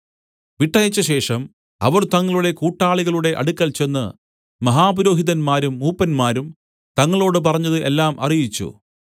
വിട്ടയച്ച ശേഷം അവർ തങ്ങളുടെ കൂട്ടാളികളുടെ അടുക്കൽ ചെന്ന് മഹാപുരോഹിതന്മാരും മൂപ്പന്മാരും തങ്ങളോട് പറഞ്ഞത് എല്ലാം അറിയിച്ചു